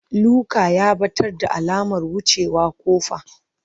Luka ya ɓatar da alamar wucewa ƙofa.